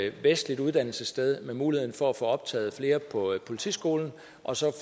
et vestligt uddannelsessted med mulighed for at få optaget flere på politiskolen og så